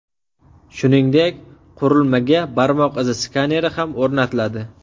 Shuningdek, qurilmaga barmoq izi skaneri ham o‘rnatiladi.